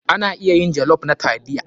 Ana iya yin jollof na taliya.